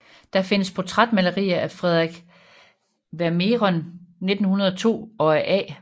Der findes portrætmalerier af Frederik Vermehren 1902 og af A